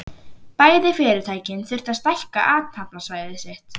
Bæði fyrirtækin þurftu að stækka athafnasvæði sitt.